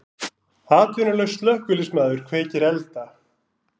Atvinnulaus slökkviliðsmaður kveikir elda